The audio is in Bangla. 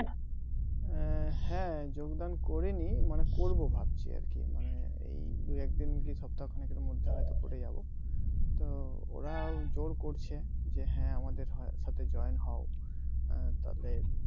হ্যাঁ যোগদান করে নি মানে করব ভাবছি আর কি এই মানে দুই এক দিন কি সপ্তাখানেক এর মধ্যে হয়তো করে যাব তো ওরা জোর করছে যে হ্যাঁ আমাদের হয় সাথে join হও তবে